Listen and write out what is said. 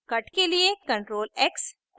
cut के लिए ctrl + x